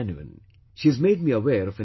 She has made me aware of an incident